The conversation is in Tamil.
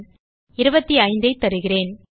25ஐ தருகிறேன்